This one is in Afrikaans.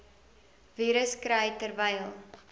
virus kry terwyl